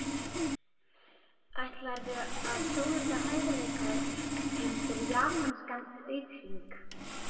Ætlarðu að sólunda hæfileikum þínum fyrir japanskan auðhring?